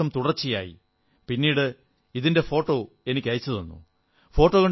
ഇരുന്നൂറു ദിവസം തുടർച്ചയായി പിന്നീട് ഇതിന്റെ ഫോട്ടോകൾ എനിക്കയച്ചുതന്നു